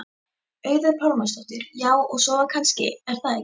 Auður Pálmarsdóttir: Já, og sofa kannski er það ekki?